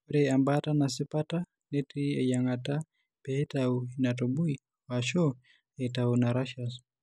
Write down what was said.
Ore embaata tesipata netii eyieng'ata peitayu inatubui o/ashu aitayu inaurachus.